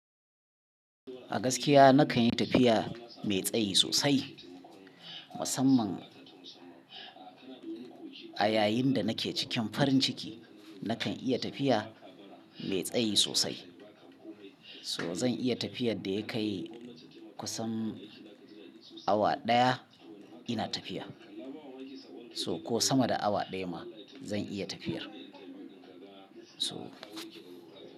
A gaskiya nakan yi tafiya mai tsayi sosai. Musamman a yayin da nake cikin farin ciki, nakan iya tafiya mai tsayi sosai. So zan iya tafiyar da ya kai kusan awa ɗaya ina tafiya. So ko sama da awa ɗaya ma zan iya tafiyar. So.